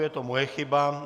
Je to moje chyba.